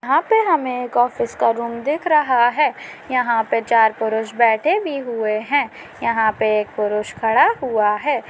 यहाँ पे हमे एक ऑफिस का रूम दिख रहा है यहाँ पे चार पुरुष बैठे बी हुए है यहाँ पे एक पुरुष खड़ा हुआ है।